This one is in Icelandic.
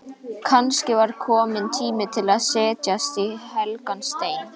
Kannski var kominn tími til að setjast í helgan stein.